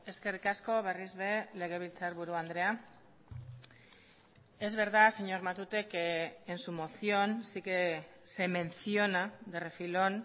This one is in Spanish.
eskerrik asko berriz ere legebiltzarburu andrea es verdad señor matute que en su moción sí que se menciona de refilón